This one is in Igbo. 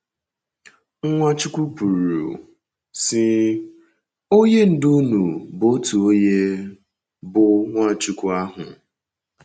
Nwachukwu kwuru, sị: “ Onye Ndú unu bụ otu onye, bụ́ Nwachukwu ahụ. ”